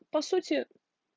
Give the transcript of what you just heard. по сути